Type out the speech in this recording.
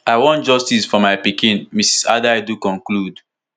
i want justice for my pikin mrs adaidu conclude